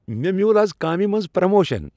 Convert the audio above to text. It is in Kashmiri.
مےٚ میول از کامِہ منز پروموشن۔